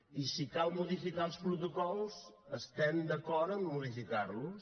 i si cal modificar els protocols estem d’acord a modificar los